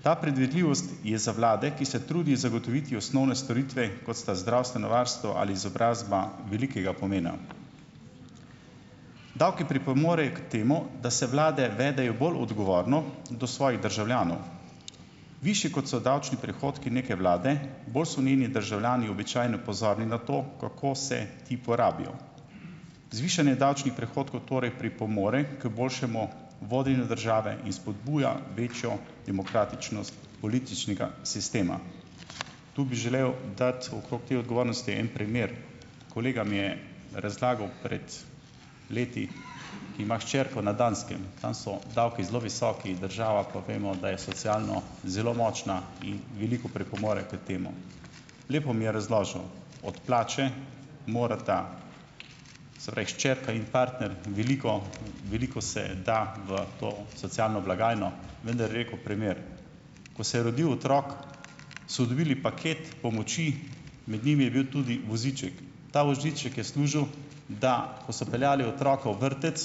Ta predvidljivost je za vlado, ki se trudi zagotoviti osnovne storitve, kot sta zdravstveno varstvo ali izobrazba velikega pomena. Davki pripomorejo k temu, da se vlade vedejo bolj odgovorno do svojih državljanov. Višji, kot so davčni prihodki neke vlade, bolj so njeni državljani običajno pozorni na to, kako se ti porabijo. Zvišanje davčnih prihodkov torej pripomore k boljšemu vodenju države in spodbuja večjo demokratičnost političnega sistema. Tu bi želel dati okrog te odgovornosti en primer. Kolega mi je razlagal pred leti, ki ima hčerko na Danskem, tam so davki zelo visoki, država pa vemo, da je socialno zelo močna in veliko pripomore k temu. Lepo mi je razložil, od plače morata, se pravi, hčerka in partner, veliko, veliko se da v to socialno blagajno, vendar je rekel, primer. Ko se je rodil otrok, so dobili paket pomoči, med njimi je bil tudi voziček. Ta voziček je služil, da ko so peljali otroka v vrtec,